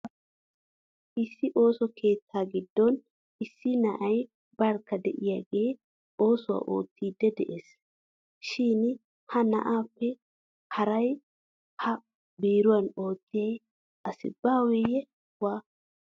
Issi ooso keettaa giddon issi na'ay barkka de'iyagee oosuwa oottiiddi de'ees. Shin ha na'aappe hara ha biiruwan oottiya asi baaweyye waa!